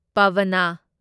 ꯄꯥꯚꯥꯅꯥ